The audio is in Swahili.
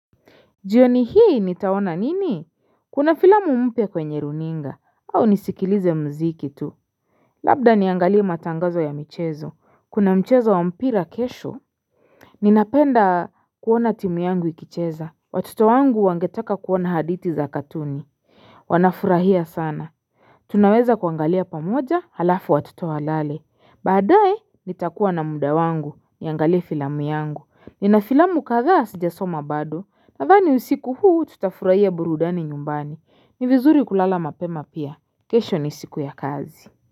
Jioni hii nitaona nini? Kuna filamu mpya kwenye runinga au nisikilize mziki tu Labda niangalie matangazo ya michezo kuna mchezo wa mpira kesho Ninapenda kuona timu yangu ikicheza watoto wangu wangetaka kuona hadithi za katuni Wanafurahia sana. Tunaweza kuangalia pamoja halafu watoto walale baadaye nitakuwa na mda wangu niangalie filamu yangu nina filamu kadhaa sija soma bado, nadhani usiku huu tutafurahia burudani nyumbani, ni vizuri kulala mapema pia, kesho ni siku ya kazi.